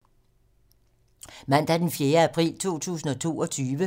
Mandag d. 4. april 2022